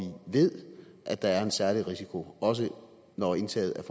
ved at der er en særlig risiko også når indtaget